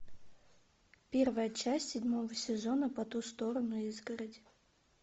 первая часть седьмого сезона по ту сторону изгороди